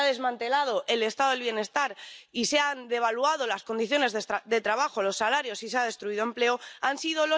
Le Semestre européen dit unifiez progressivement les règles des différents régimes de retraite, et Macron applique.